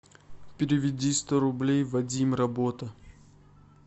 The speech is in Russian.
переведи сто рублей вадим работа